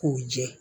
K'u jɛ